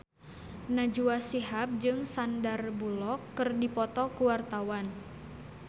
Najwa Shihab jeung Sandar Bullock keur dipoto ku wartawan